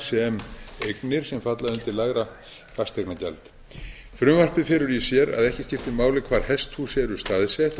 sem eignir sem falla undir lægra fasteignagjald frumvarpið felur í sér að ekki skipti máli hvar hesthús eru staðsett á bújörðum